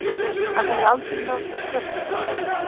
Hann hefur aldrei nálgast tröppurnar.